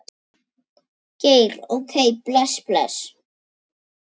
Geir OK bless, bless.